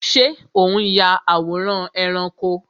Ṣé o n ya àwòrán ẹranko?